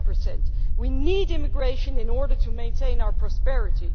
7. We need immigration in order to maintain our prosperity.